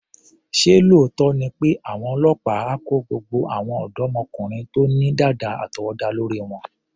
Ṣé lóòótọ́ ni pé àwọn ọlọ́pàá á kó gbogbo àwọn ọ̀dọ́mọkùnrin tó ní dàda àtọwọ́dá lórí wọn?